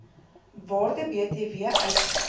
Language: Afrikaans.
waarde btw uitsluit